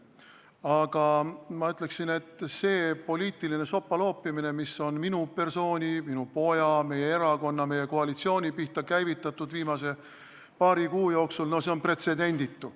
Aga ma ütleksin, et see poliitiline sopaloopimine, mis on minu persooni, minu poja, meie erakonna, meie koalitsiooni pihta viimase paari kuu jooksul toimunud, on pretsedenditu.